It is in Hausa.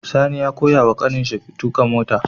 Sani ya koya wa ƙanin shi tuƙa mota